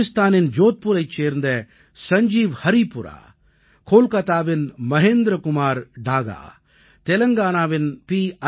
ராஜஸ்தானின் ஜோத்பூரைச் சேர்ந்த சஞ்ஜீவ் ஹரீபுரா கோல்காத்தாவின் மஹேந்திர குமார் டாகா தெலங்கானாவின் பி